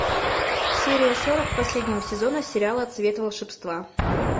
серия сорок последнего сезона сериала цвет волшебства